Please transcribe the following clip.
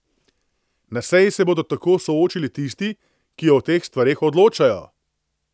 Na seji se bodo tako soočili tisti, ki o teh stvareh odločajo.